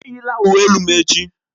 Eyila uwe elu m echi!